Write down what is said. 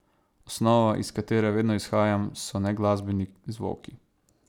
Osnova, iz katere vedno izhajam, so neglasbeni zvoki.